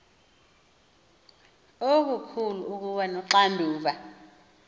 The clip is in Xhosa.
okukhulu ukuba noxanduva